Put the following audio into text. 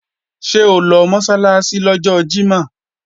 Ṣé o lọ Mọ́sálásí lọ́jọ́ Jímọ̀?